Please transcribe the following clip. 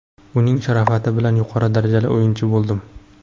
Uning sharofati bilan yuqori darajali o‘yinchi bo‘ldim.